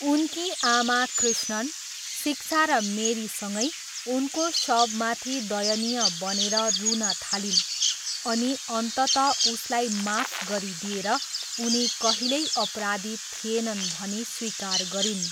उनकी आमा कृष्णन, शिक्षा र मेरीसँगै उनको शवमाथि दयनीय बनेर रुन थालिन् अनि अन्ततः उसलाई माफ गरिदिेएर उनी कहिल्यै अपराधी थिएनन् भनी स्वीकार गरिन्।